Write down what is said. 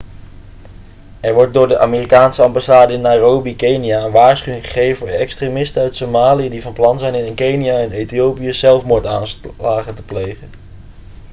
er werd door de amerikaanse ambassade in nairobi kenia een waarschuwing gegeven voor extremisten uit somalië' die van plan zijn in kenia en ethiopië zelfmoordaanslagen te plegen